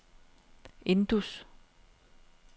Indus